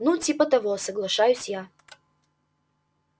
ну типа того соглашаюсь я